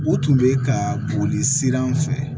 O tun bɛ ka boli sira an fɛ